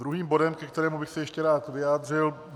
Druhý bod, ke kterému bych se ještě rád vyjádřil.